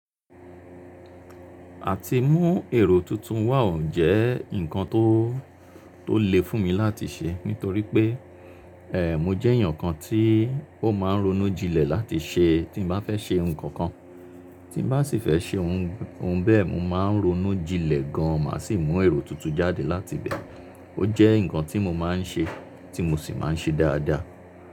Àti mú èrò tuntun wá òun jẹ́ nǹkan tó, tó le fún mi láti ṣe. Nítorí pé, ẹ́ẹ̀, mo jẹ́ èèyàn kan tí ó máa ń ronú jinlẹ̀ láti ṣe tí n bá fẹ́ ṣe ohun kankan. Tí n bá sì fẹ́ ṣe ohun, ohun bẹ́ẹ̀, mo máa ń ronú jinlẹ̀ gan, màá sì mú èrò tuntun jáde láti bẹ́ẹ̀. Ó jẹ́ nǹkan tí mo máa ń ṣe, tí mo sì máa ń ṣe dáadáa.